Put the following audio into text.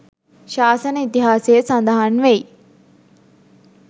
ශාසන ඉතිහාසයේ සඳහන් වෙයි